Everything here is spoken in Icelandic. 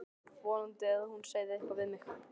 Vonaði að hún segði eitthvað við mig.